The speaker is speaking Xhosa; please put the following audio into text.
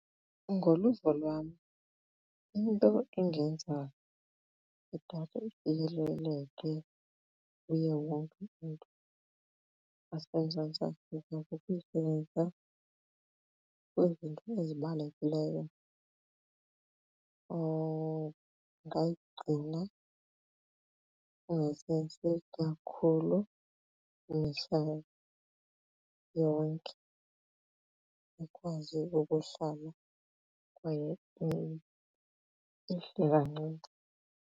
Ngoluvo lwam into engenza idatha ifikeleleke kuye wonke umntu waseMzantsi Afrika kukuyisebenza kwizinto ezibalulekileyo ungayigcina ungayisebenziseli kakhulu mihla yonke ikwazi ukuhlala kwaye ihle kancinci.